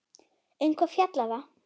Um hvað fjallar það?